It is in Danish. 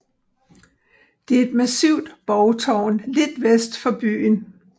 Det er et massivt borgtårn lidt vest for byen